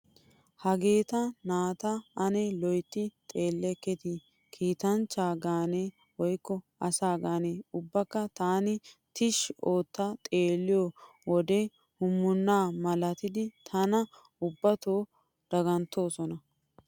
Hageeta naata ane loytti xeellekketi kiitanchcha gaane woykko asa gaane. Ubbaakka taani tishshi ootta xeelliyo wode hummunnaa malatidi tana ubbato daganttoosona.